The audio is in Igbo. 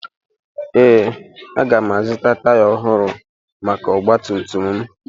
Ee, aga m azụta taya ọhụrụ maka ọgba tum tum m